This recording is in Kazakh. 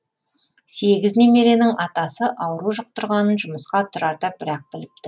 сегіз немеренің атасы ауру жұқтырғанын жұмысқа тұрарда бір ақ біліпті